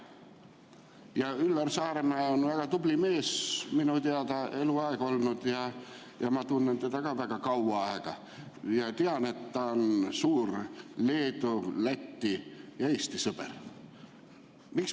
Ja Üllar Saaremäe on minu teada eluaeg olnud väga tubli mees, ma tunnen teda ka väga kaua aega ja tean, et ta on suur Leedu, Läti ja Eesti sõber.